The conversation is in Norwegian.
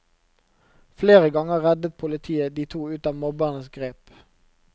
Flere ganger reddet politiet de to ut av mobbernes grep.